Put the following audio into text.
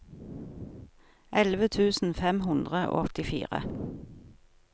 elleve tusen fem hundre og åttifire